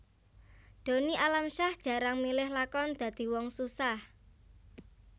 Donny Alamsyah jarang milih lakon dadi wong susah